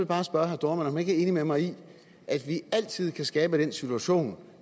bare spørge herre dohrmann om han ikke er enig med mig i at vi altid kan skabe den situation